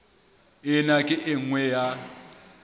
ena ke e nngwe ya